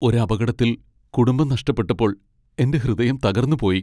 ഒരു അപകടത്തിൽ കുടുംബം നഷ്ടപ്പെട്ടപ്പോൾ എന്റെ ഹൃദയം തകർന്നുപോയി .